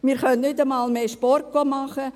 Wir können nicht einmal mehr Sport machen.»